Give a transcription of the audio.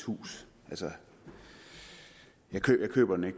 hus altså jeg køber den ikke